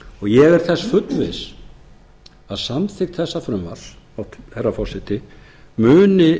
ég er þess fullviss að samþykkt þessa frumvarps herra forseti muni